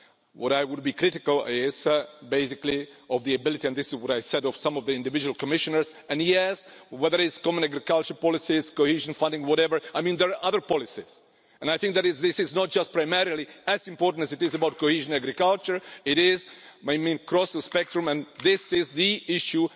What I would be critical of basically is the ability and this is what I said of some of the individual Commissioners and yes, whether it's common agricultural policies, cohesion funding, whatever I mean, there are other policies I think that this is not just primarily as important as it is about cohesion, agriculture, it is across the spectrum, and this is the issue